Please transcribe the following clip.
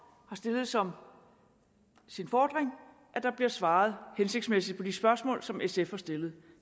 har stillet som sin fordring at der bliver svaret hensigtsmæssigt på de spørgsmål som sf har stillet